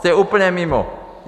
Jste úplně mimo.